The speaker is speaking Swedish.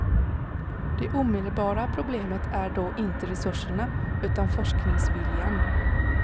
Det omedelbara problemet är då inte resurserna, utan forskningsviljan.